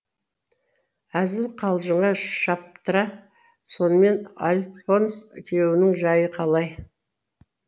әзіл қалжыңға шаптыра сонымен альфонс күйеуіңнің жайы қалай